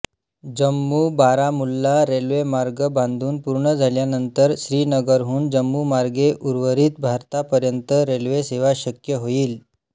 जम्मूबारामुल्ला रेल्वेमार्ग बांधून पूर्ण झाल्यानंतर श्रीनगरहून जम्मूमार्गे उर्वरित भारतापर्यंत रेल्वेसेवा शक्य होईल